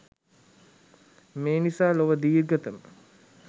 මේ නිසා ලොව දීර්ඝතම